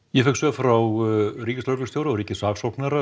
ég fékk svör frá ríkislögreglustjóra og ríkissaksóknara